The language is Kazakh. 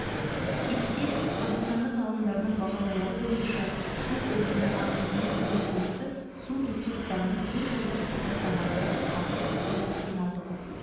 кесте қазақстандық ғалымдардың бағалаулары бойынша шу өзені ағысының ресурсы су ресурстарының көпжылдық сипаттамалары артып түсу ықтималдығы